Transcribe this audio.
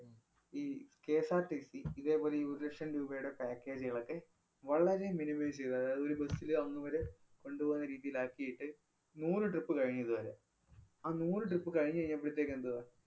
ഈ KSRTC ഇതേപോലെ ഈ ഒരു ലക്ഷം രൂപേടെ package കളൊക്കെ വളരെ minimise ചെയ്ത് അതായത് ഒരു bus ല് അന്ന് വരെ കൊണ്ട് പോകുന്ന രീതിയിലാക്കിയിട്ട് മൂന്ന് trip കഴിഞ്ഞു ഇതുവരെ. ആ മൂന്ന് trip കഴിഞ്ഞു കഴിഞ്ഞപ്പഴത്തേക്കെന്തുവാ